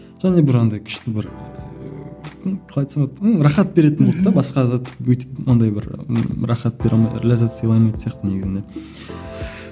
және де бір андай күшті бір ну қалай айтсам болады ну рахат беретін болды да басқа зат өйтіп ондай бір рахат бере алмай ләззат сыйлай алмайтын сияқты негізінде